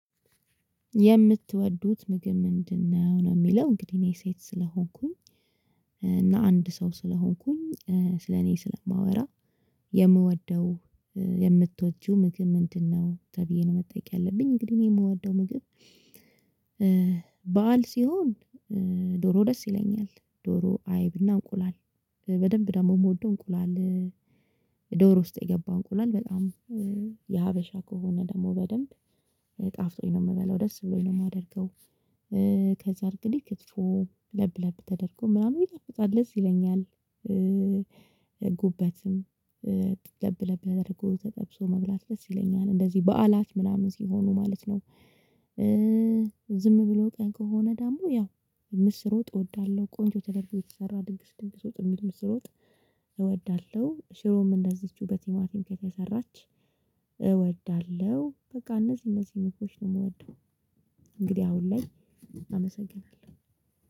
የምትወዱት ምግብ ምንድን ነው ነው የሚለው እንግዲህ እኔ ሴት ስለሆንኩኝ እና አንድ ሰው ስለሆንኩኝ ስለ እኔ ስለማወራ የምወደው የምትወጂው ምግብ ምንድነው? ነው ተብዬ ነው መጠየቅ ያለብኝ እንግዲህ እኔ የምወደው ምግብ። በዓል ሲሆን ዶሮ ደስ ይለኛል። ዶሮ አይብ እና እንቁላል በደንብ ደግሞ የምወደው እንቁላል። ዶሮ ውስጥ የገባ እንቁላል በጣም የሀበሻ ከሆነ ደግሞ በደንብ ጣፍጦኝ ነው የምበላው ደስ ብሎኝ ነው የማደርገው። ከዛ እንግዲህ ክትፎ ለብ ለብ ተደርጎ ምናምን ይጣፍጣል ደስ ይለኛል። ጉበትም ለብለብ ተደርጎ ተጠብሶ መብላት ደስ ይለኛል እንደዚህ በዓላት ምናምን ሲሆኑ ማለት ነው። ዝም ብሎ ቀን ከሆነ ደግሞ ያው ምስር ወጥ እወዳለሁ። ቆንጆ ተደርጎ የተሰራ ድግስ ድግስ ወጥ የሚል ምስር ወጥ እወዳለሁ። ሽሮም እንደዚችው በቲማቲም ከተሰራች እወዳለሁ በቃ እነዚህ እነዚህ ምግቦች ነው የምወደው። እንግዲህ አሁን ላይ አመሰግናለሁ።